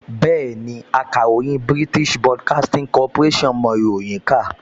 Bẹ́ẹ̀ni, akàròyìn BBC mọ ìròyìn kà